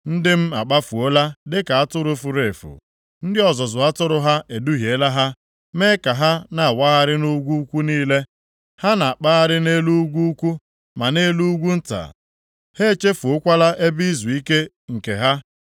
“Ndị m akpafuola dịka atụrụ furu efu. Ndị ọzụzụ atụrụ ha eduhiela ha, mee ka ha na-awagharị nʼugwu ukwu niile. Ha na-akpagharị nʼelu ugwu ukwu, ma nʼelu ugwu nta. Ha echefuokwala ebe izuike nke ha.